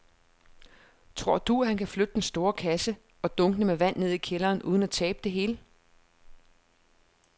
Tror du, at han kan flytte den store kasse og dunkene med vand ned i kælderen uden at tabe det hele?